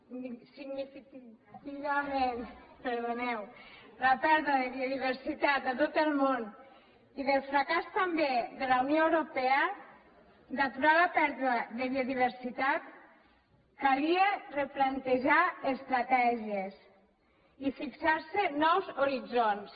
significativament a tot el món i del fracàs també de la unió europea d’aturar la pèrdua de biodiversitat calia replantejar estratègies i fixar se nous horitzons